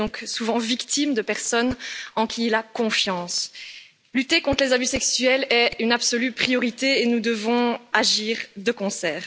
Il est donc souvent victime de personnes en qui il a confiance. Lutter contre les abus sexuels est une absolue priorité et nous devons agir de concert.